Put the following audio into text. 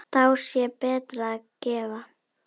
Þá sé betra að gefa.